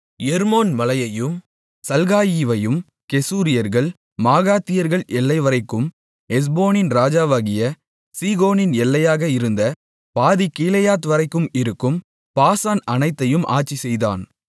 எர்மோன் மலையையும் சல்காயிவையும் கெசூரியர்கள் மாகாத்தியர்கள் எல்லைவரைக்கும் எஸ்போனின் ராஜாவாகிய சீகோனின் எல்லையாக இருந்த பாதிக் கீலேயாத்வரைக்கும் இருக்கும் பாசான் அனைத்தையும் ஆட்சிசெய்தான்